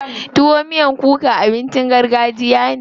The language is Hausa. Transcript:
Tuwo miyan kuka abincin gargajiya ne.